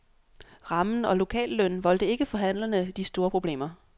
Rammen og lokallønnen voldte ikke forhandlerne de store problemer.